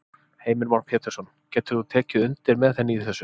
Heimir Már Pétursson: Getur þú tekið undir með henni í þessu?